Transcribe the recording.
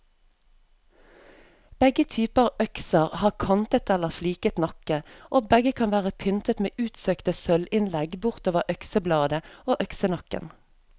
Begge typer økser har kantet eller fliket nakke, og begge kan være pyntet med utsøkte sølvinnlegg bortover øksebladet og øksenakken.